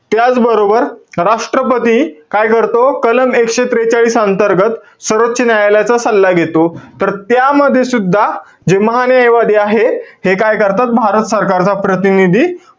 त्याचबरोबर, राष्ट्रपती काय करतो? कलम एकशे त्रेचाळीस अंतर्गत, सर्वोच न्यायालयाचा सल्ला घेतो. तर त्यामध्ये सुद्धा जे महान्यायवादी आहेत, हे काय करतात? भारत सरकारचा प्रतिनिधी,